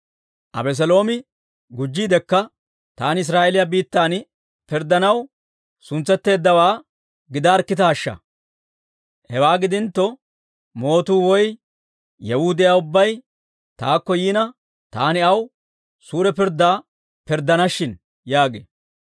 Abeseeloomi gujjiidekka, «Taani Israa'eeliyaa biittan pirddanaw suntsetteeddawaa gidaarkkitaashsha! Hewaa gidintto, mootuu woy yewuu de'iyaa ubbay taakko yiina, taani aw suure pirddaa pirddana shin» yaagee.